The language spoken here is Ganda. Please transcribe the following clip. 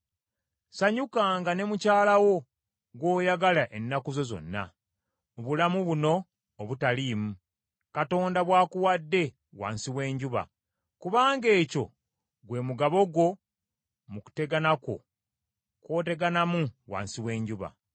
Ssanyukanga ne mukyala wo gw’oyagala ennaku zo zonna, mu bulamu buno obutaliimu, Katonda bw’akuwadde wansi w’enjuba, kubanga ekyo gwe mugabo gwo mu kutegana kwo kw’oteganamu wansi w’enjuba.